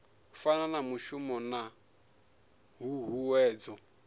fana na mushumo na huhuwedzo